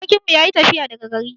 Sarkin mu yayi tafiya daga gari.